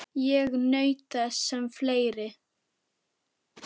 Ég naut þess sem fleiri.